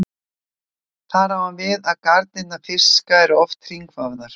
Þar á hann við að garnir fiska eru oft hringvafðar.